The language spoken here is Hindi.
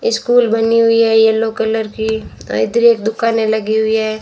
स्कूल बनी हुई है येलो कलर की। इधर एक दुकाने लगी हुई है।